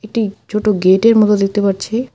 একটি ছোট গেট -এর মতো দেখতে পারছি।